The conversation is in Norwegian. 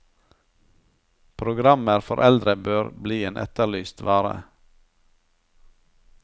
Programmer for eldre bør bli en etterlyst vare.